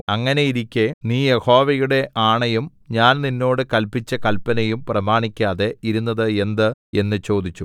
അങ്ങനെയിരിക്കെ നീ യഹോവയുടെ ആണയും ഞാൻ നിന്നോട് കല്പിച്ച കല്പനയും പ്രമാണിക്കാതെ ഇരുന്നത് എന്ത് എന്ന് ചോദിച്ചു